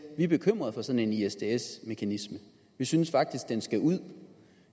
vi er bekymret for sådan en isds mekanisme vi synes faktisk at den skal ud